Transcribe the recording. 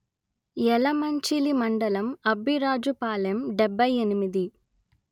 యలమంచిలి మండలం అబ్బిరాజుపాలెం డెబ్బై ఎనిమిది